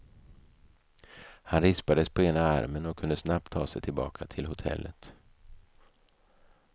Han rispades på ena armen och kunde snabbt ta sig tillbaka till hotellet.